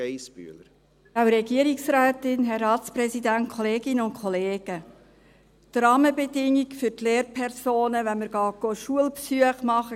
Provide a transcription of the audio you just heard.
Die Rahmenbedingungen für Lehrpersonen, aber vor allem für die Kinder, sieht man, wenn man Schulbesuche macht.